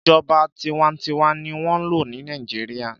Ìjọba tinwatinwa ni wọ́n n lò ní Nàìjíríà.